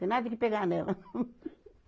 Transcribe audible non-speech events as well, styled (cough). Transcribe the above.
Tem nada que pegar nela. (laughs)